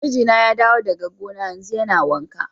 Mijina ya dawo daga gona yanzu, yana wanka.